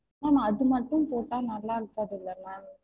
Ma'am அது மட்டும் போட்டா நல்லா இருக்காதுல ma'am?